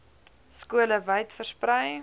skole wyd versprei